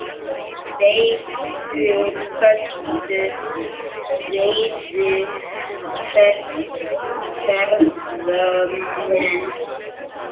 Feitur köttur veiði ferðamenn